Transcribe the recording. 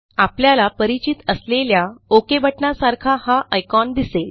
आपल्याला परिचित असलेल्या ओक बटणासारखा हा आयकॉन दिसेल